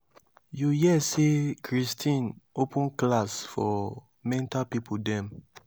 you hear say christine open class for mental people dem